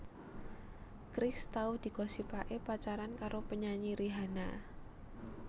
Chris tau digosipaké pacaran karo penyanyi Rihanna